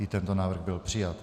I tento návrh byl přijat.